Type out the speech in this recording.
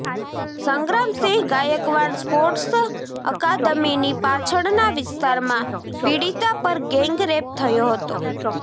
Sangramsinh Gaikwad sports અકાદમીની પાછળના વિસ્તારમાં પીડિતા પર ગેંગ રેપ થયો હતો